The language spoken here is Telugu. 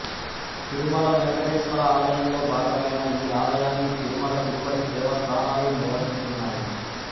తిరుమల వెంకటేశ్వర ఆలయంలో భాగమైన ఈ ఆలయాన్ని తిరుమల తిరుపతి దేవస్థానాలు నిర్వహిస్తున్నాయి